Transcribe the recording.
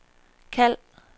kald